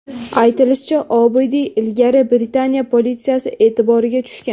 Aytilishicha, Obidiy ilgari Britaniya politsiyasi e’tiboriga tushgan.